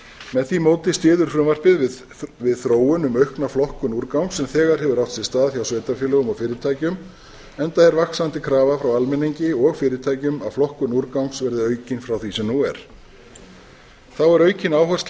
með því móti styður frumvarpið við þróun um aukna flokkun úrgangs sem þegar hefur átt sér stað hjá sveitarfélögum og fyrirtækjum endar er vaxandi krafa frá almenningi og fyrirtækjum að flokkun úrgangs verði aukin frá því sem nú er þá er aukin áhersla